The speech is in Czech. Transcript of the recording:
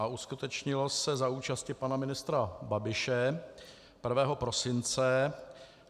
A uskutečnilo se za účasti pana ministra Babiše 1 prosince.